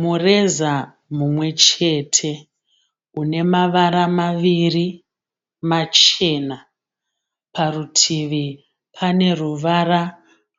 Mureza mumwe chete une mavara maviri machena. Parutivi pane ruvara